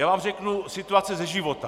Já vám řeknu situaci ze života.